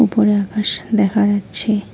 উপরে আকাশ দেখা যাচ্ছে।